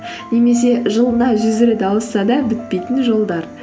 немесе жылына жүз рет ауысса да бітпейтін жолдар